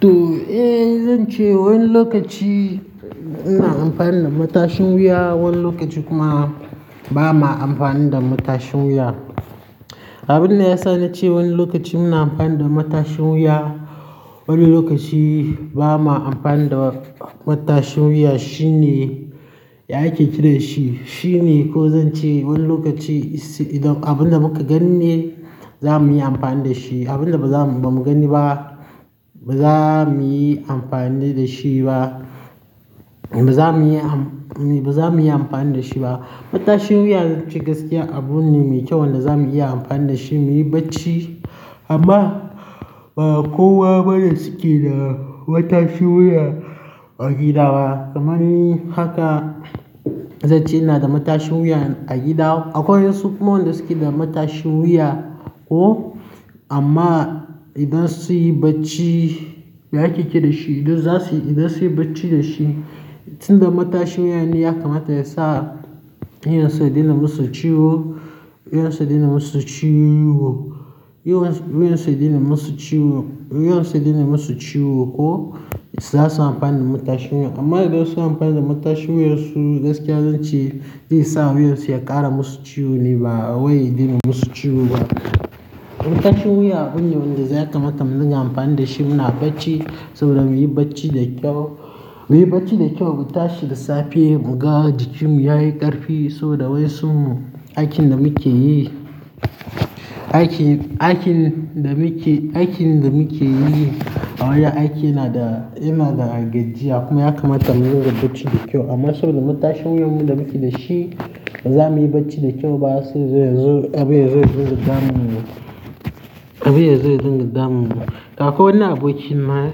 To, eh zan ce wani lokaci ina amfani da matashin wuya, wani lokaci kuma ba ma amfani da matashin wuya. Abin da ya sa na ce wani lokaci muna amfani da matashin wuya, wani lokaci ba ma amfani da matashin wuya, shine ya ake kiran shi, shine ko zan ce wani lokaci idan abin da muka ganni za muyi amfani da shi, abin da ba mu ganni ba ba za muyi amfani da shi ba. Ba za muyi amfani da shi ba. Matashin wuya zan ce gaskiya abune mai kyau wanda za mu iya amfani da shi muyi bacci. Amma ba kowa bane yake da matashin wuya a gida ba. Kamani haka zan ce ina da matashin wuya a gida. Akwai wasu kuma wanda suke da matashin wuya ko amma idan su yi bacci, ya ake kira shi? Idan zasuyi idan zasu yi bacci da shi tunda matashin wuya ne ya kamata ya sa wuyansu ya daina musu ciwo, wuyansu daina musu ciwo, wuyansu ya daina musu ciwo ko za su amfani da matashin wuya. Amma idan su yi amfani da matashin wuyansu gaskiya zan ce zai sa wuyansu ya ƙara musu ciwo ne ba wai ya daina musu ciwo ba. Matashin wuya abune wanda za ka mata mun dinga amfani da shi muna bacci saboda muyi bacci da kyau, muyi bacci da kyau, mu tashi da safe mu ga jikinmu yayi ƙarfi saboda wai sun aikin da muke yi, aikin, aikin da muke, aikin da muke yi a wajen aiki yana da, yana da gajiya kuma ya kamata mu yi ringa bacci da kyau. Amma saboda matashin namu da muke da shi ba za muyi bacci da kyau ba sai abin ya zo ya dunga damun mu, abin ya zo dunga damun mu. Akwai wani abokin na,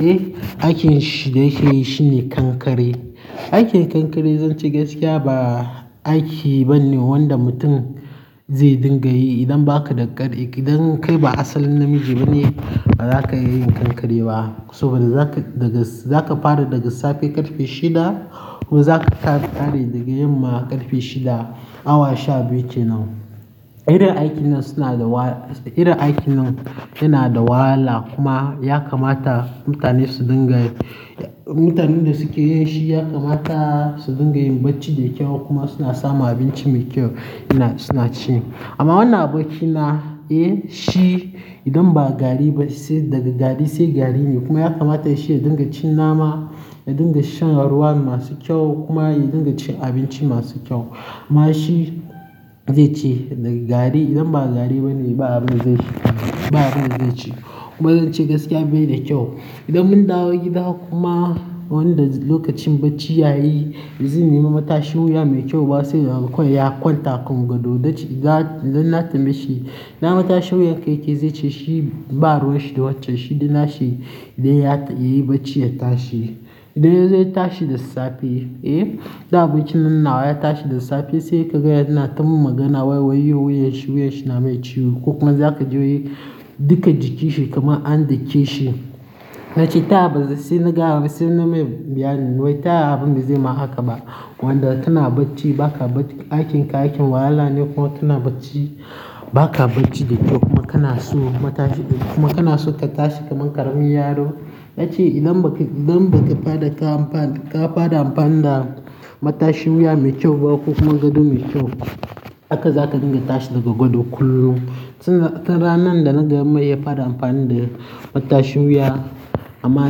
eh, aikin shi da yake yi shine kankare. Aikin kankare zan ce gaskiya ba aiki bane wanda mutum zai dinga yi. Idan bakada karfi idan kai ba asalin namiji bane baraka iya yin kankare ba saboda za ka fara daga safe ƙarfe shida kuma za ka ƙare daga yamma ƙarfe shida, awa sha biyu ke nan. Irin aikin nan suna da wala, irin aikin nan yana da wahala kuma ya kamata mutane su dinga, mutanen da suke yin shi ya kamata su dinga yin bacci da kyau kuma suna samun abinci mai kyau suna ci. Amma wannan abokina, eh, shi idan ba gari ba sai daga gari sai gari ne kuma ya kamata shi ya dinga cin nama, ya dinga shan ruwa masu kyau kuma ya dinga cin abinci masu kyau. Amma shi zai ce daga gari idan ba gari bane ba abin da zai ci, ba abin da zai ci. Kuma zan ce gaskiya bai da kyau. Idan mun dawo gida kuma wanda lokacin bacci ya yi, ba zai nemi matashin wuya mai kyau ba sai ya hau kawai ya kwanta a kan gado. Idan na tambaye shi, ina matashin wuyar ka ya ke zai ce shi ba ruwa shi da wacce, shi daina shi idan ya yi bacci ya tashi. Idan ya tashi da safe, eh, idan aboki nan nawa ya tashi da safe sai ka ga yana ta magana wai wuya shi, wuya shi na mai ciwo. Ko kuma za ka ji duka jikinsa kamar an dake shi. Nace ta ya sai nagaya mai sai na mai bayani ta yaya abin nan bazai ma haka ba wanda tana bacci ba ka bacci, aikin ka aikin wahala ne kuma kana bacci ba ka bacci da kyau kuma kana so ka tashi kamar ƙaramin yaro. Yace idan baka tashi kafara amfani da matashin wuya me kyau ba ko kuma gado me kyau haka zaka dinga tashi daga gado kullum. Ranar da na da mai ya fara amfani da matashin wuya amma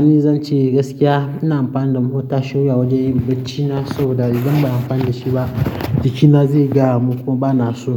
ni zan ce gaskiya ina amfani da matashin wuya wajen yin baccina saboda idan ba a amfani da shi ba jikina zai gaya mun kuma bana so.